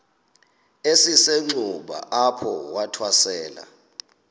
esisenxuba apho wathwasela